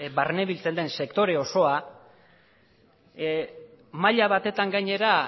barnebiltzen den sektore osoa maila batetan gainera